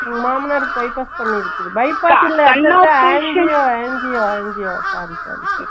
உங்க மாமனாருக்கு bypass பண்ணிருக்கு அங்கியோ அங்கியோ அங்கியோ sorry sorry sorry